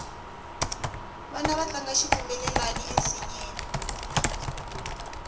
vana va tlanga xitumbelelani ensinyeni